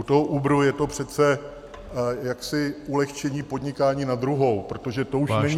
U toho Uberu je to přece jaksi ulehčení podnikání na druhou, protože to už není...